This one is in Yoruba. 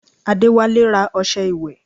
Adéwálé ra ọṣẹ ìwẹ̀